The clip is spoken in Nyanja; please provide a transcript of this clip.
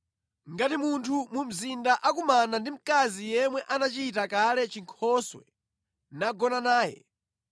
Ngati munthu mu mzinda akumana ndi mkazi yemwe anachita kale chinkhoswe nagona naye,